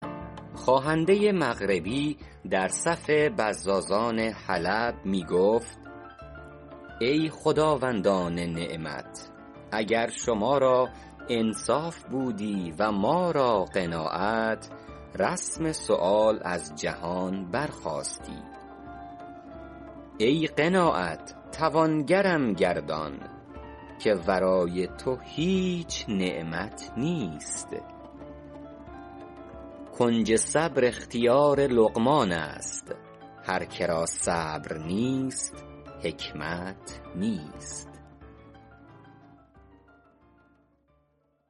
خواهنده مغربی در صف بزازان حلب می گفت ای خداوندان نعمت اگر شما را انصاف بودی و ما را قناعت رسم سؤال از جهان برخاستی ای قناعت توانگرم گردان که ورای تو هیچ نعمت نیست کنج صبر اختیار لقمان است هر که را صبر نیست حکمت نیست